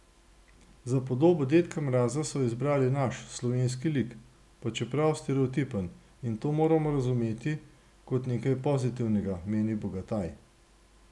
Za podobo dedka Mraza so izbrali naš, slovenski lik, pa čeprav stereotipen, in to moramo razumeti kot nekaj pozitivnega, meni Bogataj.